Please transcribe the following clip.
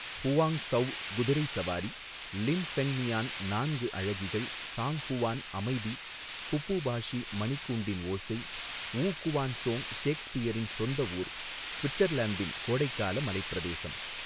Huang Zhou குதிரை சவாரி Lin Fengmian நான்கு அழகிகள் ஸாங் ஹுவான் அமைதி ஃபுபு பாஷி மணிக்கூண்டின் ஓசை வூ குவான்சோங் ஷேக்ஸ்பியரின் சொந்த ஊர் ஸ்விட்சர்லாந்தின் கோடைக்கால மலைப்பிரதேசம்.